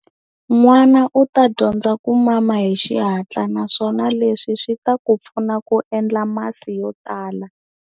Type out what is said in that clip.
N'wana u ta dyondza ku mama hi xihatla naswona leswi swi ta ku pfuna ku endla masi yo tala.